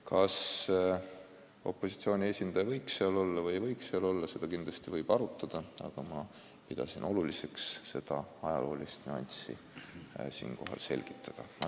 Kas opositsiooni esindaja võiks nõukogus olla või ei võiks, seda kindlasti võib arutada, aga ma pidasin oluliseks seda ajaloolist nüanssi siinkohal selgitada.